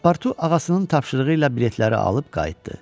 Paspartu ağasının tapşırığı ilə biletləri alıb qayıtdı.